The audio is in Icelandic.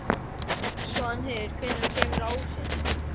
Svanheiður, hvenær kemur ásinn?